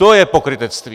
To je pokrytectví!